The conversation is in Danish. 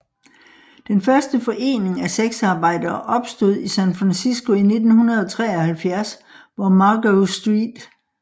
Den første forening af sexarbejdere opstod i San Francisco i 1973 hvor Margo St